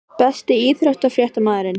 Besti íþróttafréttamaðurinn??